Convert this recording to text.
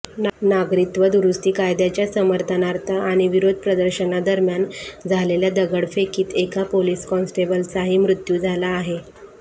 नागरिकत्व दुरुस्ती कायद्याच्या समर्थनार्थ आणि विरोध प्रदर्शनादरम्यान झालेल्या दगडफेकीत एका पोलीस कॉन्स्टेबलचाही मृत्यू झाला आहे